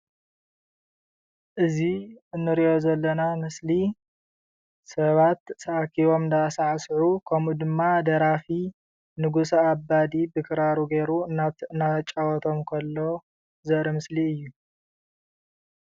እዚ እንሪኦ ዘለና ምስሊ ሰባት ተአኪቦም እንዳሳዕስዑ ከምኡ ድማ ደራፊ ንጉሰ አባዲ ብክራሩ ገይሩ እናጫወቶም ከሎ ዘርኢ ምስሊ እዩ ።